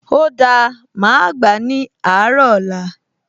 O dáa, màá gbà á ní àárọ̀ ọ̀la